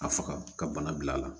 A faga ka bana bila a la